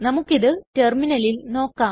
നമുക്കിത് ടെർമിനലിൽ നോക്കാം